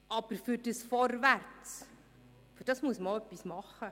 Aber für dieses Vorwärts, dafür muss man auch etwas tun.